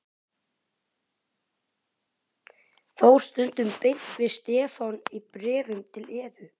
Þór stundum beint við Stefán í bréfum til Evu.